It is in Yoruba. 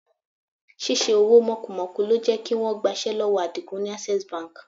Ṣíṣe owó mọ́kumọ̀ku ló jẹ́ kí wọ́n gbaṣẹ́ lọ́wọ́ Àdìgún ni Access Bank.